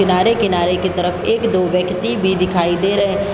किनारे किनारे की तरफ एक दो व्यक्ति भी दिखाई दे रहे --